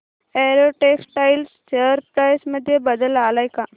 Arrow textiles share price मध्ये बदल आलाय का